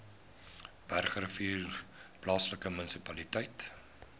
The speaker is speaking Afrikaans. bergrivier plaaslike munisipaliteit